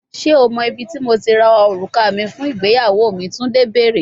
Ṣe o mọ ibiti Mo ti ra oruka mi fun igbeyawo mi, Tunde beere